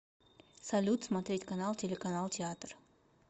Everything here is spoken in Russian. салют смотреть канал телеканал театр